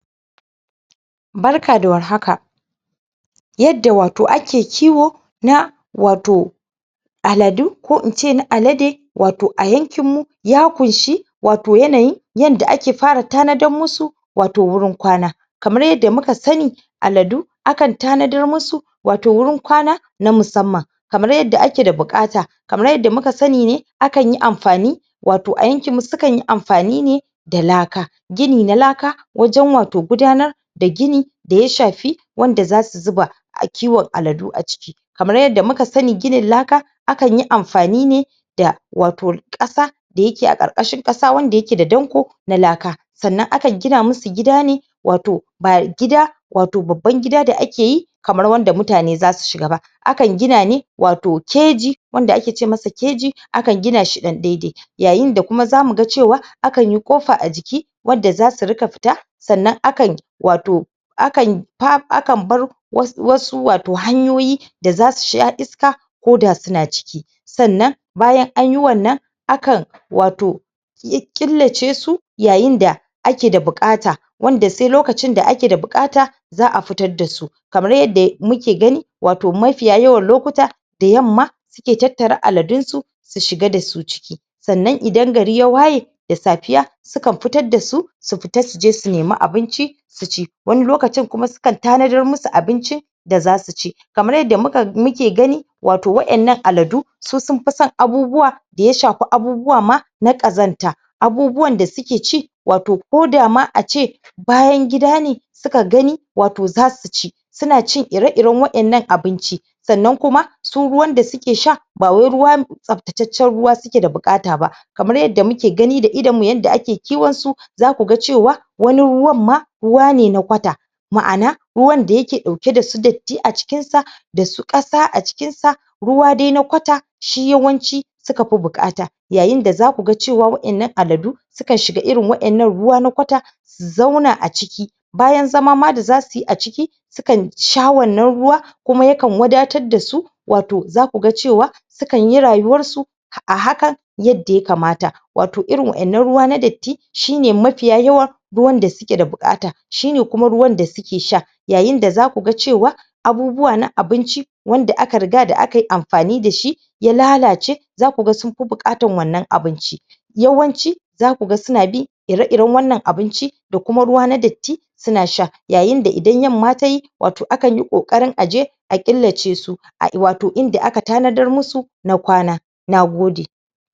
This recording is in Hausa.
barka da warhaka yanda wato ake kiwo na wato aladu ko ince na alade wato a yankin mu ya kunshe wato yanayin yanda ake fara tanadar musu wato wurin kwana kamar yanda muka sani aladu akan tana darmusu wato wurin kwana na musamman kamar yanda ake da buƙata kamar yanda muka sani ne akanyi amfani wato a yakinmu sukanyi amfani ne da laka gini na laka wajan wato gudanar da gini daya shafi wanda zasu zuba a kiwan aladu a ciki kamar yanda muka sani gini laka akanyi amfani ne da wato ƙasa da yake a ƙarƙashin ƙasa wanda yake da danƙo na laka sannan akan gina musu gida ne wato ba gida wato babban gida da akeyi kamar wanda mutane zasu shiga ba akan gina ne wato keji wanda ake ce masa keji akan ginashi ɗan daidai yayin da kuma zamu ga cewa akanyi kofa a jiki wadda zasu ringa fita sannan akan wato akan bar wasu wato hanyoyi da zasu sha iska ko da suna ciki sannan bayan anyi wannan akan wato killace su yayin da ake da buƙata wanda sai lokacin da ake da buƙata za a fitar dasu kamar yanda muke gani mafiya yawan lokuta da yamma suke tattare aladunsu su shiga dasu ciki sannan idan gari ya waye da safiya sukan fitar dasu su fita suje su neme abinci su ci wani lokacin kuma sukan tanadar musu abincin da zasuci kamar yanda muke gani wato waɗannan aladu su sunfi san abubuwa da ya shafi ma abubuwa na ƙazanta abubuwan da suke ci wato ko dama ace bayan gida ne suka ganin wato zasuci suna cin iri iran waɗannan abinci sannan kuma su ruwan da suke sha ba wai ruwa tsaftataccan ruwa suke da buƙata ba kamar yanda muke gani da idanmu yanda ake kiwansu zaku ga cewa wani ruwan ma ruwa ne na kwata ne ma'ana ruwan da yake dauke dasu datti a cikinsa dasu ƙasa a cikinsa ruwa dai na kwata shi yawanci suka fi buƙata yayin da zakuga cewa waɗanna aladun suka shiga irin waɗannan ruwan na kwata su zauna a ciki bayan zama ma da zasuyi a ciki sukan sha wannan ruwan kuma yakan wadatar dasu wato zakuga cewa sukanyi rayuwarsu a hakan yanda ya kamata wato irin waɗannan ruwa na datti shine mafiya yawa ruwan da suke da buƙata shine kuma ruwan da suke sha yayin da zaku ga cewa abubuwa na abinci wanda aka riga akayi amfani dashi ya lalace zaku ga sunfi buƙatar wannan abinci yawanci zaku ga suna bi ire iran wannan abinci da kuma ruwa na datti suna sha yayin da idan yamma tayi wato ana ta ƙoƙarin aje a killace su wato inda aka tana dar musu na kwana nagode